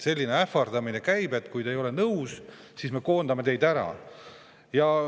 Selline ähvardamine käib, et kui te ei ole nõus, siis me koondame teid ära.